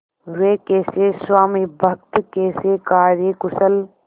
वे कैसे स्वामिभक्त कैसे कार्यकुशल